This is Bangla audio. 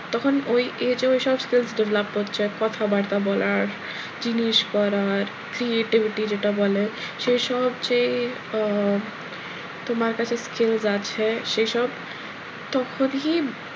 তখন ওই age এ ওই সব skills develop করছে কথাবার্তা বলার জিনিস পরার যেটা বলে creativity সেসব যে আহ তোমার কাছে skills বাড়ছে সে সব তখনই,